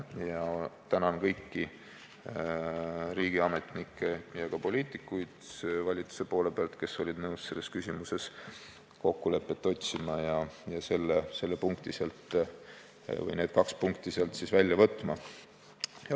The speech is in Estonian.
Ma tänan kõiki riigiametnikke ja valitsuse poliitikuid, kes olid nõus selles küsimuses kokkulepet otsima ja need kaks punkti sealt välja võtma.